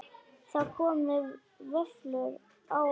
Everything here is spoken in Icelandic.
Það komu vöflur á Halla.